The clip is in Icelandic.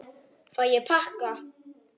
Fæ ég pakka?